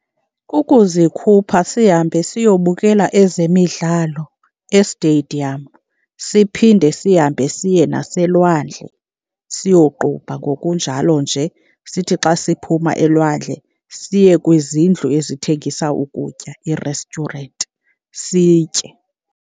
Kukuzikhupha sihambe siyobukela ezemidlalo e-stadium, siphinde sihambe siye naselwandle siyoqubha, ngokunjalo nje sithi xa siphuma elwandle siye kwizindlu ezithengisa ukutya, ii-restaurant, sitye.